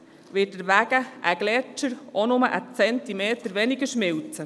– Wird deswegen ein Gletscher nur einen Zentimeter weniger schmelzen?